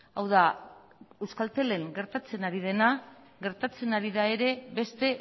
hau da euskaltelen gertatzen ari dena gertatzen ari da ere beste